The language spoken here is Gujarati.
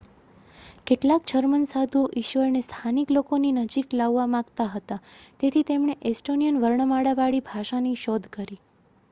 કેટલાક જર્મન સાધુઓ ઈશ્વરને સ્થાનિક લોકોની નજીક લાવવા માગતા હતા તેથી તેમણે એસ્ટોનિયન વર્ણમાળાવાળી ભાષાની શોધ કરી